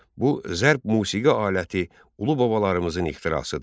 Bu zərb musiqi aləti ulu babalarımızın ixtirasıdır.